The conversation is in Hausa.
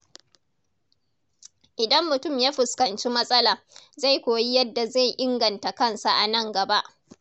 Idan mutum ya fuskanci matsala, zai koyi yadda zai inganta kansa a nan gaba.